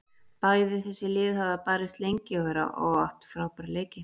Bæði þessi lið hafa barist lengi og átt frábæra leiki.